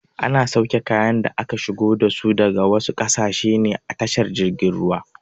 Ana sauke kayan da aka shigo dasu daga wasu ƙasashe ne a tashar jirgin ruwa.